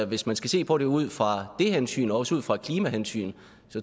hvis man skal se på det ud fra det hensyn og også ud fra et klimahensyn